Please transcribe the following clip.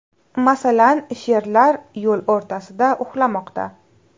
Masalan, sherlar yo‘l o‘rtasida uxlamoqda .